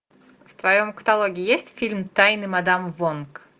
в твоем каталоге есть фильм тайны мадам вонг